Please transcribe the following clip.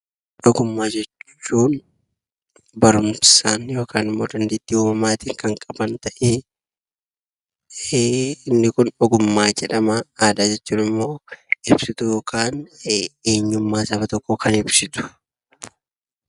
Ogummaa jechuun barumsaan yookaan immoo dandeettii uumamaatiin kan qaban ta'ee inni kun ogummaa jedhama. Aadaa jechuun immoo ibsituu yookaan eenyummaa saba tokkoo kan ibsitu.